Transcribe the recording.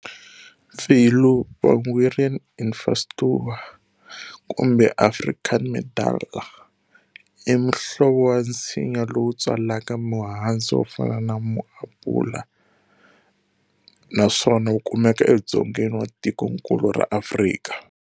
Pfillu, "Vangueria infausta" Kumbe"Africanmedlar", i muhlovo wa nsinya lowu tswalaka muhandzu wo fana na mu-Apula, naswona wu kumeka e Dzongeni wa tikonkulu ra Afrika.